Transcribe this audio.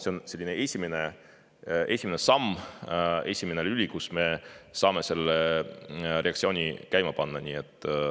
See on selline esimene samm, esimene lüli, mille abil me saame selle reaktsiooni käima panna.